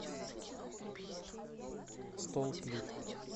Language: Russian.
столплит